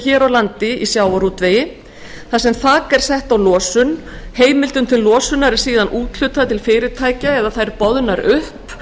hér á landi í sjávarútvegi þar sem þak er sett á losun heimildum til losunar er síðan úthlutað til fyrirtækja eða þær boðnar upp